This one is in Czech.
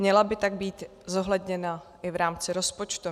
Měla by tak být zohledněna i v rámci rozpočtu.